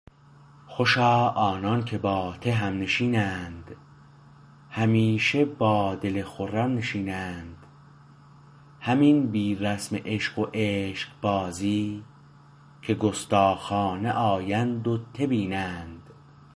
خوشا آنان که با ته همنشینند همیشه با دل خرم نشینند همین بی رسم عشق و عشقبازی که گستاخانه آیند و ته بینند